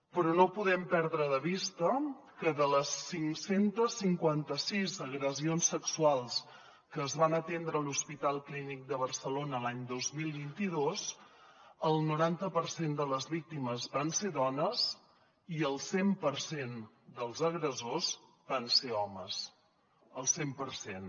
però no podem perdre de vista que de les cinc cents i cinquanta sis agressions sexuals que es van atendre a l’hospital clínic de barcelona l’any dos mil vint dos el noranta per cent de les víctimes van ser dones i el cent per cent dels agressors van ser homes el cent per cent